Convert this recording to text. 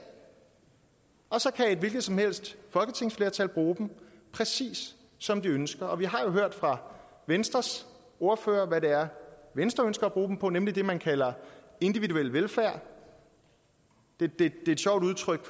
og så kan et hvilket som helst folketingsflertal bruge dem præcis som det ønsker vi har jo hørt fra venstres ordfører hvad det er venstre ønsker at bruge dem på nemlig det man kalder individuel velfærd det er et sjovt udtryk